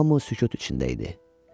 Hamı sükut içində idi.